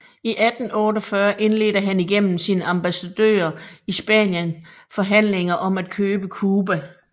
I 1848 indledte han igennem sin ambassadør i Spanien forhandlinger om at købe Cuba